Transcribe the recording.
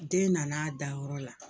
Den nana a dayɔrɔ la